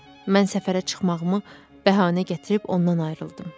Mən səfərə çıxmağımı bəhanə gətirib ondan ayrıldım.